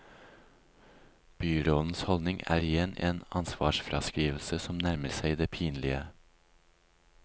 Byrådens holdning er igjen en ansvarsfraskrivelse som nærmer seg det pinlige.